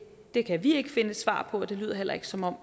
det kan vi ikke finde et svar på og det lyder heller ikke som om